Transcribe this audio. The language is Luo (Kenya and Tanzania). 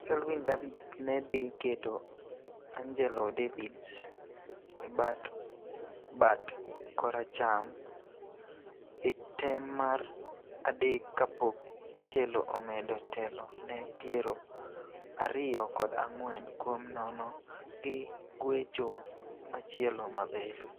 Selvyn Davids ne dhi keto Angelo Davids e bath bat koracham e tem mar adek kapok Angelo omedo telo ne piero ariyo kod ang'wen kuom nono gi guecho machielo maber.